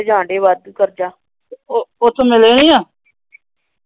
ਉਥੋ ਮਿਲੇ ਨਹੀਂ ਏ ।